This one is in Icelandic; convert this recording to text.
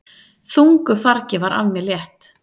Þungu fargi var af mér létt!